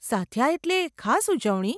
સાદ્યા એટલે ખાસ ઉજવણી?